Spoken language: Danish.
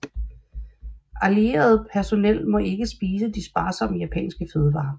Allieret personel måtte ikke spise de sparsomme japanske fødevarer